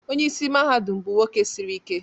Onye isi mahadum bụ nwoke siri ike